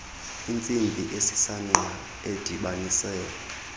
intsimbi esisangqa edibanise